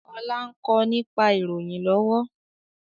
Ọlá ń kọ́ nípa ìròyìn lọ́wọ́